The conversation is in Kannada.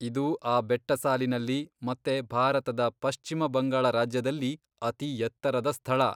ಇದು ಆ ಬೆಟ್ಟಸಾಲಿನಲ್ಲಿ ಮತ್ತೆ ಭಾರತದ ಪಶ್ಚಿಮ ಬಂಗಾಳ ರಾಜ್ಯದಲ್ಲಿ ಅತಿಎತ್ತರದ ಸ್ಥಳ.